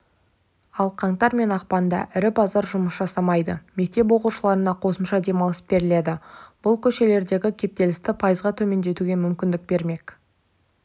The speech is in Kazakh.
ал қаңтар мен ақпанда ірі базар жұмыс жасамайды мектеп оқушыларына қосымша демалыс беріледі бұл көшелердегі кептелісті пайызға төмендетуге мүмкіндік бермек